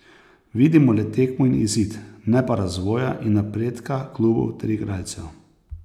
Vidimo le tekmo in izid, ne pa razvoja in napredka klubov ter igralcev.